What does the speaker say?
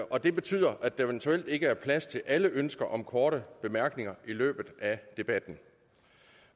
og det betyder at der eventuelt ikke er plads til alle ønsker om korte bemærkninger i løbet af debatten